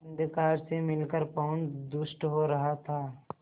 अंधकार से मिलकर पवन दुष्ट हो रहा था